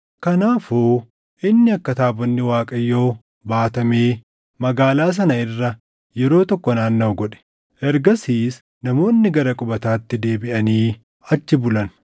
Kanaafuu inni akka taabonni Waaqayyoo baatamee magaalaa sana irra yeroo tokko naannaʼu godhe. Ergasiis namoonni gara qubataatti deebiʼanii achi bulan.